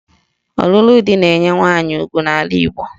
Ọlụlụ di na-enye nwaanyị ugwu n'ala Igbo